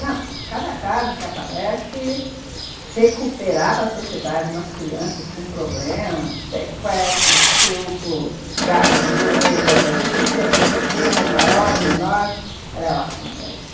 Não, cada caso que aparece que recuperar para sociedade umas crianças com problemas, sequestros, estupro, gagueira, deficiências pequenas, maiores, menores, ela é ótima para isso.